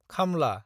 खामला